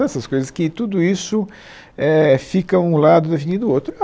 então essas coisas que tudo isso éh fica um lado da avenida o outro.